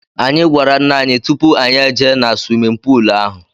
Anyị gwara ńnà anyị tụpụ anyị ejee na swimin poolu ahụ.